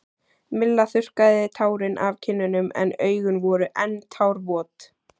Milla þurrkaði tárin af kinnunum en augun voru enn tárvot.